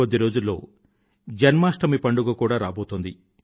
కొద్ది రోజుల్లో జన్మాష్టమి పండుగ కూడా రాబోతోంది